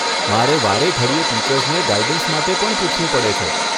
મારે વારેઘડીએ ટીચર્સને ગાઈડન્સ માટે પણ પૂછવું પડે છે.